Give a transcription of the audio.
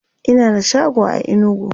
Ina da shago a inugu